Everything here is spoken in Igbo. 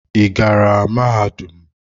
Ị gara mahadum?